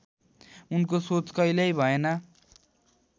उनको सोच कहिल्यै भएन